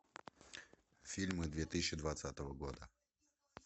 фильмы две тысячи двадцатого года